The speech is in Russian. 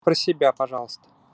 про себя пожалуйста